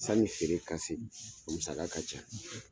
San feere ka se musa ka ca